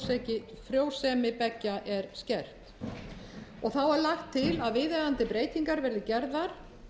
sem frjósemi beggja maka er skert lagt er til að viðeigandi breytingar verði gerðar